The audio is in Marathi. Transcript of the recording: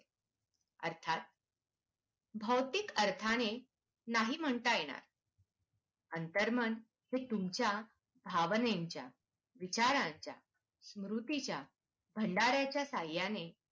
अर्थात भौतिक अर्थाने नाही म्हणता येणार अंतर्मन हे तुमचा भावनेचा, विचारांचा, कृतीचा साहाय्याने